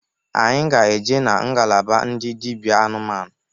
Anyị ga-eje na ngalaba ndị dịbịa anụmanụ.